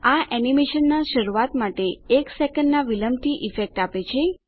આ એનીમેશનનાં શરૂઆત માટે એક સેકન્ડનાં વિલંબની ઈફેક્ટ આપે છે